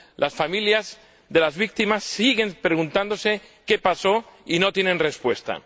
Las familias de las víctimas siguen preguntándose qué pasó, y no tienen respuesta.